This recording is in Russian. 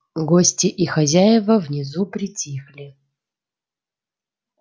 гости и хозяева внизу притихли